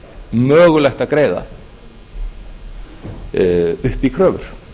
mögulegt að greiða upp í kröfur